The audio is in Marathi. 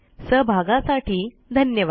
सहभागासाठी धन्यवाद